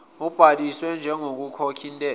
ubhalisiwe njengokhokha intela